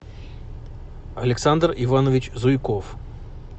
александр иванович зуйков